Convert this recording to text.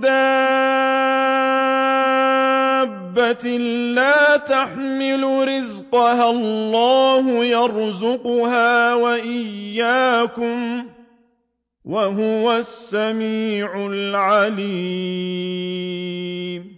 دَابَّةٍ لَّا تَحْمِلُ رِزْقَهَا اللَّهُ يَرْزُقُهَا وَإِيَّاكُمْ ۚ وَهُوَ السَّمِيعُ الْعَلِيمُ